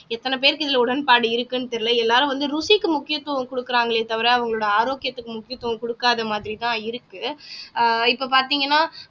எத்தன பேருக்கு இதுல உடன்பாடு இருக்குன்னு தெரியல எல்லாரும் வந்து ருசிக்கு முக்கியத்துவம் கொடுக்கிறாங்களே தவிர அவங்களோட ஆரோக்கியத்துக்கு முக்கியத்துவம் கொடுக்காத மாதிரி தான் இருக்கு இப்ப பார்த்தீங்கன்னா